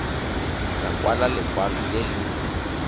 ka kwala lekwalo le le